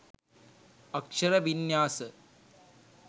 අක්ෂර වින්‍යාස